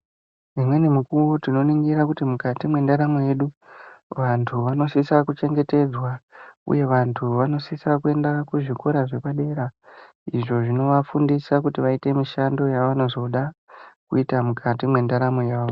Umweni mukuwo tinoningira kuti mukati mwendaramo yedu vantu vanosisa kuchengetedzw uye vantu vanosisa kuenda kuzvikora zvepadera izvo zvinovafundisa kuti vaite mishando yevanozoda kuita mukati mwendaramo yavo.